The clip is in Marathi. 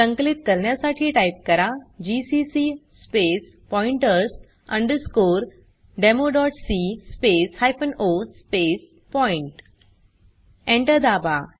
संकलित करण्यासाठी टाइप करा GCC space pointers underscore demo dot c space hyphen o space point Enter दाबा